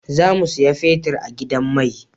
Za mu saya fetir a gidan mai